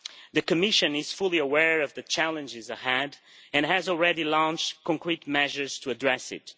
The Commission is fully aware of the challenges ahead and has already launched concrete measures to address them.